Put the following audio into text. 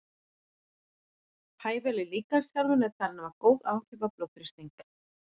Hæfileg líkamsþjálfun er talin hafa góð áhrif á blóðþrýsting.